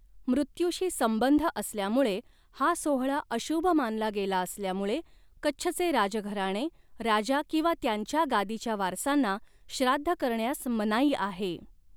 मृत्यूशी संबंध असल्यामुळे हा सोहळा अशुभ मानला गेला असल्यामुळे कच्छचे राजघराणे, राजा किंवा त्यांच्या गादीच्या वारसांना श्राद्ध करण्यास मनाई आहे.